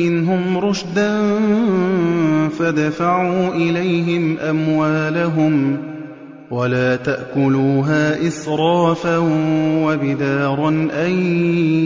مِّنْهُمْ رُشْدًا فَادْفَعُوا إِلَيْهِمْ أَمْوَالَهُمْ ۖ وَلَا تَأْكُلُوهَا إِسْرَافًا وَبِدَارًا أَن